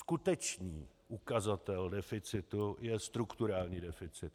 Skutečný ukazatel deficitu je strukturální deficit.